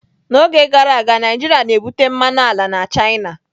N'oge gara aga, Naijiria na-ebupụ mmanụ ala na china.